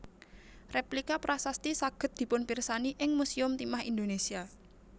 Rèplika prasasti saged dipunpirsani ing Musèum Timah Indonesia